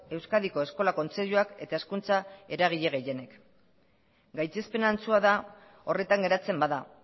euskadiko eskola kontseiluak eta hezkuntza eragile gehienek gaitzespen antzua da horretan geratzen bada